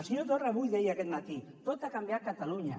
el senyor torra avui deia aquest matí tot va canviar a catalunya